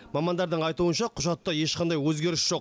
мамандардың айтуынша құжатта ешқандай өзгеріс жоқ